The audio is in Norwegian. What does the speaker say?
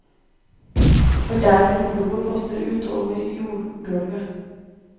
For der hvor blodet fosser ut over jordgulvet.